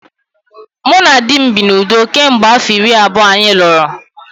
Mụ na di m bi n’udo kemgbe afọ iri abụọ anyị lụrụ